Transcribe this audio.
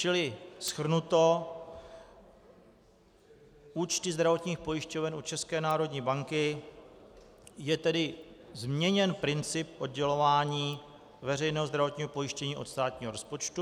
Čili shrnuto, účty zdravotních pojišťoven u České národní banky - je tedy změněn princip oddělování veřejného zdravotního pojištění od státního rozpočtu.